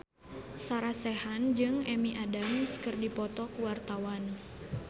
Sarah Sechan jeung Amy Adams keur dipoto ku wartawan